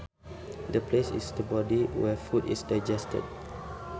The place in the body where food is digested